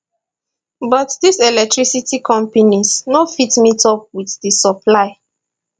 but dis electricity companies no fit meetup wit di supply